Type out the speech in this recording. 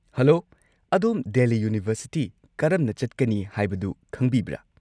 Hello, ꯑꯗꯣꯝ Delhi university ꯀꯔꯝꯅ ꯆꯠꯀꯅꯤ ꯍꯥꯏꯕꯗꯨ ꯈꯪꯕꯤꯕ꯭ꯔꯥ?